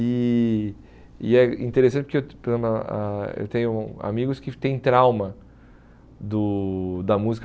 E e é interessante porque eu tenho ah ah eu tenho amigos que têm trauma do da música.